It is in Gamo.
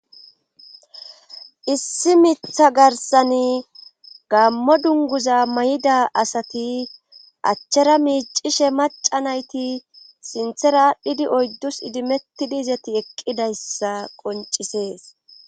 Issi mitha garsan gammo dunguza may7ida asati achchera miicishe maca nayti sinthera aadhdhidi oyddus idimettidi izati eqqidayssa qoncisees.